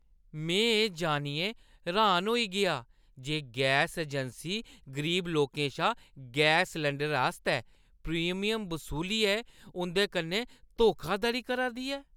में एह् जानियै र्‌हान होई गेआ जे गैस अजैंसी गरीब लोकें शा गैस सलैंडरै आस्तै प्रीमियम बसूलियै उंʼदे कन्नै धोखाधड़ी करा दी ऐ।